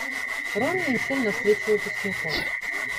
роми и мишель на встрече выпускников